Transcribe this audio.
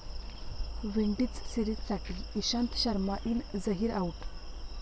Windies सिरीजसाठी Ishant Sharma in, Zaheer out